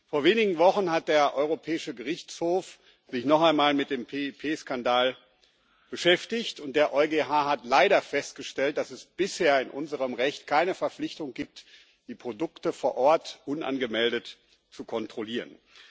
Vor wenigen Wochen hat der Europäische Gerichtshof sich noch einmal mit dem PIP-Skandal beschäftigt, und der EuGH hat leider festgestellt, dass es bisher in unserem Recht keine Verpflichtung gibt, die Produkte vor Ort unangemeldet zu kontrollieren.